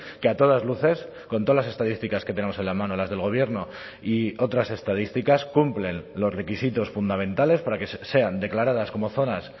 que a todas luces con todas las estadísticas que tenemos en la mano las del gobierno y otras estadísticas cumplen los requisitos fundamentales para que sean declaradas como zonas